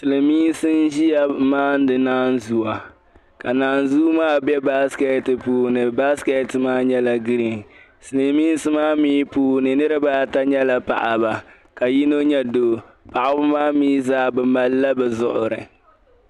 Silimiinsi n ʒiya n maani naan zuwa ka naan zuu maa be basket puuni ka basket maa nyɛla green silimiinsi mi puuni niribaata nyɛla paɣaba, ka yinɔ nyɛ doo, paɣaba maa mi zaa bɛ malla bɛ zuɣuri